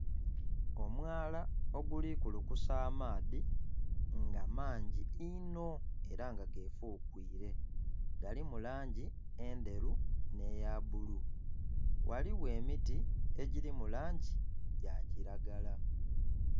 Omwala oguli kulukusa amaadhi nga mangi inho era nga gefuukwire, galimu langi endheru nh'eya bbulu, ghaligho emiti egiri mu langi ya kilagala.